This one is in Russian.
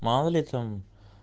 мало ли там